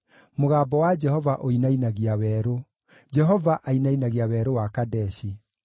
Mũgambo wa Jehova ũinainagia werũ; Jehova ainainagia Werũ wa Kadeshi.